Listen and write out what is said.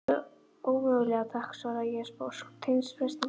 Ómögulega takk, svara ég sposk, stenst freistinguna.